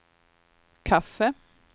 kaffe